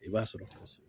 I b'a sɔrɔ